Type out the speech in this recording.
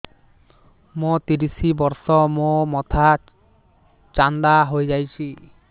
ମୋ ତିରିଶ ବର୍ଷ ମୋ ମୋଥା ଚାନ୍ଦା ହଇଯାଇଛି